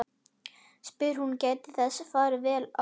spyr hún og gætir þess að fara vel að honum.